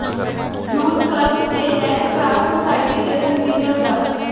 youth club ਤੇ red cross society ਦੇ convener ਡਾ